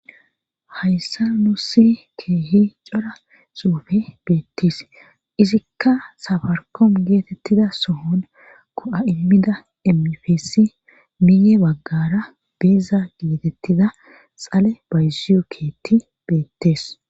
hayssa nu si keehi cora suufe beetties izikka safarkoom geetettida sohon ko7a immida emifeesi miye baggara beeza geetettida xale bayziyu keetti beettees